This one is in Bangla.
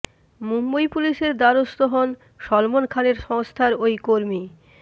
মুম্বই পুলিসের দ্বারস্থ হন সলমন খানের সংস্থার ওই কর্মী